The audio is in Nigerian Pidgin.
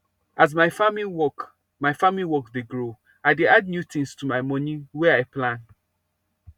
as my farming work my farming work dey grow i dey add new things to my moni wey i plan